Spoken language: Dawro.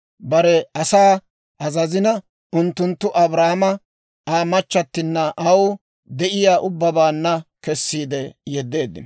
Bare asaa azazina, unttunttu Abraama Aa machchattinanne aw de'iyaa ubbabaanna kessiide yeddeeddino.